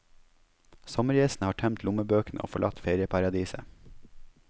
Sommergjestene har tømt lommebøkene og forlatt ferieparadiset.